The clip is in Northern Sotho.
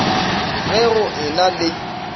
ge go e na le